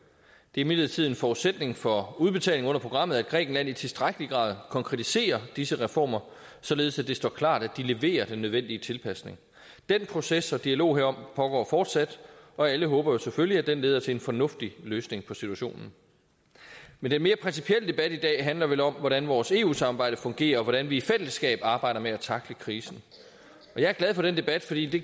imidlertid en forudsætning for udbetaling under programmet at grækenland i tilstrækkelig grad konkretiserer disse reformer således at det står klart at de leverer den nødvendige tilpasning den proces og dialog herom pågår fortsat og alle håber jo selvfølgelig at den leder til en fornuftig løsning på situationen men den mere principielle debat i dag handler vel om hvordan vores eu samarbejde fungerer og hvordan vi i fællesskab arbejder med at tackle krisen jeg er glad for den debat fordi det